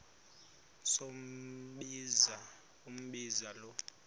sombinza umbinza lo